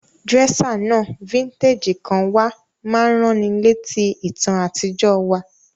Dresser náà, vintage kan wa, ma n raniletí ìtàn àtijọ́ wa